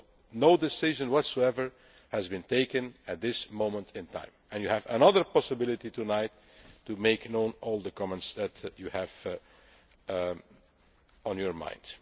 So no decision whatsoever has been taken at this moment in time, and you have another possibility tonight to make known all the comments that you have on your